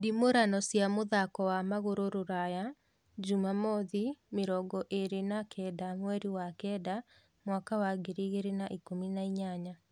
ndimurano cia mũthako wa magũrũ Rũraya Jumamothi mĩrongo ĩĩrĩ na kenda mweri wa kenda mwaka wa ngiri igĩri na ikumi na inyanya